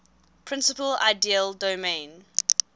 principal ideal domain